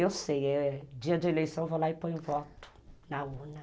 Eu sei, eh, dia de eleição eu vou lá e ponho voto na urna.